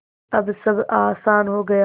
अब सब आसान हो गया